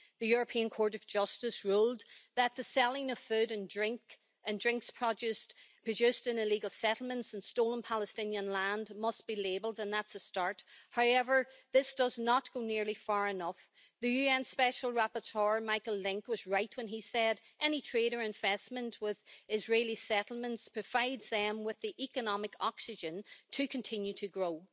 the European Court of Justice ruled that the selling of food and drink produced in illegal settlements and stolen Palestinian land must be labelled, and that's a start. However, this does not go nearly far enough. The UN special rapporteur, Michael Lynk, was right when he said any trade or investment with Israeli settlements provides them with the economic oxygen to continue to grow.